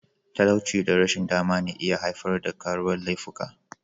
Talauci da rashin dama na iya haifar da karuwar laifuka.